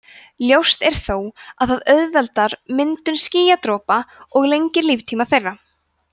ljóst er þó að það auðveldar myndun skýjadropa og lengir líftíma þeirra